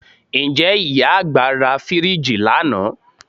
Ǹjẹ́ ìyá àgbà ra fíríìjì lánàá